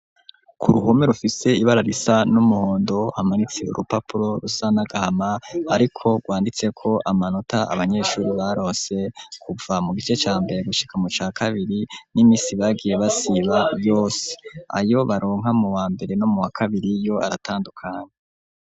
K'uruhome rufise ibara risa n'umuhondo, hamanitse urupapuro rusa n'agahama ariko rwanditseko amanota abanyeshuri barose kuva mu gice ca mbere gushika mu ca kabiri, n'iminsi bagiye basiba yose. Ayo baronka mu wa mbere no mu wa kabiri yo aratandukana.